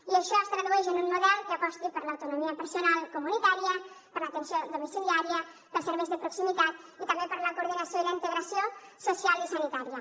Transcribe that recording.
i això es tradueix en un model que aposti per l’autonomia personal comunitària per l’atenció domiciliària pels serveis de proximitat i també per la coordinació i la integració social i sanitària